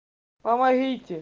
помогите